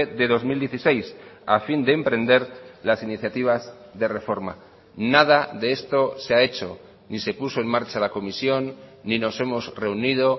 de dos mil dieciséis a fin de emprender las iniciativas de reforma nada de esto se ha hecho ni se puso en marcha la comisión ni nos hemos reunido